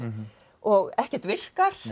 og ekkert virkar